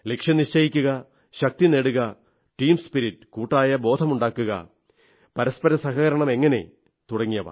ലക്ഷ്യം നിശ്ചയിക്കുക ശക്തി നേടുക ടീംസ്പിരിറ്റ് കൂട്ടായബോധം ഉണ്ടാക്കുക പരസ്പര സഹകരണം എങ്ങനെ തുടങ്ങിയവ